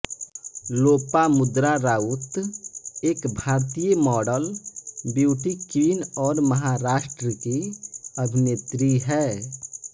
लोपामुद्रा राउत एक भारतीय model beauty queen और महाराष्ट्र की अभिनेत्री हैं